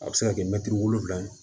A bɛ se ka kɛ mɛtiri wolonwula ye